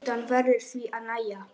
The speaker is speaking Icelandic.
Sturtan verður því að nægja.